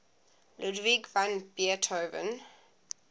ludwig van beethoven